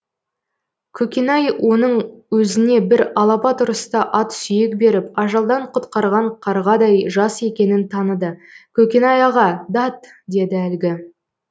көкенай оның өзіне бір алапат ұрыста ат сүйек беріп ажалдан құтқарған қарғадай жас екенін таныды көкенай аға дат деді әлгі